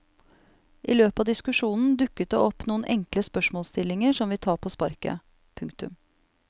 I løpet av diskusjonen dukker det opp noen enkle spørsmålsstillinger som vi tar på sparket. punktum